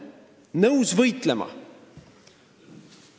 Oleme nõus võitlema!